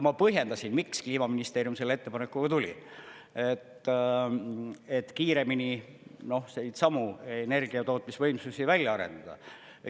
Ma põhjendasin, miks Kliimaministeerium selle ettepanekuga tuli, et kiiremini neidsamu energiatootmisvõimsusi välja arendada.